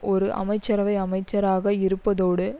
ஒரு அமைச்சரவை அமைச்சராக இருப்பதோடு